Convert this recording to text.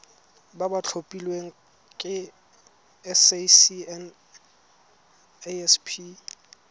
ba ba tlhophilweng ke sacnasp